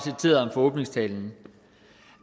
fra åbningstalen